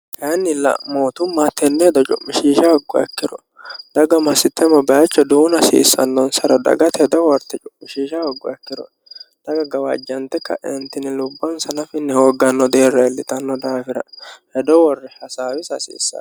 Kayinnilla mootumma tenne hedo cu'mishiisha haggo ikkiro daga masitte ma baayicho duunna hasiissannonsaro dagate hedo worte cu'mishiisha hagguha ikkiro daga gawaajjante ka'entini lubbonsa nafunni hoogganno deerra illitanno daafira hedo worre hasaawisi hasiissano.